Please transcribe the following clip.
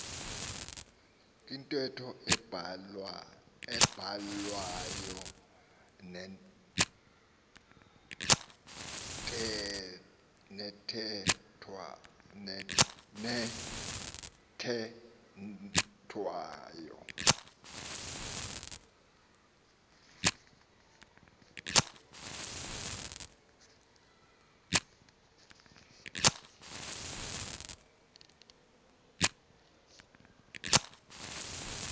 kwintetho ebhalwayo nethethwayo